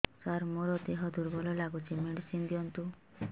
ସାର ମୋର ଦେହ ଦୁର୍ବଳ ଲାଗୁଚି ମେଡିସିନ ଦିଅନ୍ତୁ